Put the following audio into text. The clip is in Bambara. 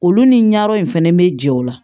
Olu ni ɲayɔrɔ in fɛnɛ bɛ jɛ o la